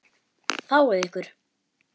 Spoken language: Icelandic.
Fáið ykkur.